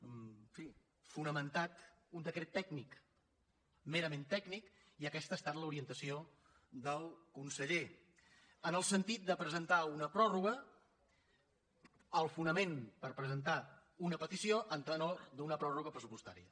en fi fonamentat un decret tècnic merament tècnic i aquesta ha estat l’orientació del conseller en el sentit de presentar una pròrroga el fonament per presentar una petició a tenor d’una pròrroga pressupostària